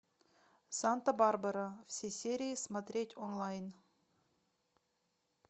санта барбара все серии смотреть онлайн